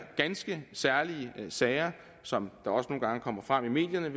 ganske særlige sager som også nogle gange kommer frem i medierne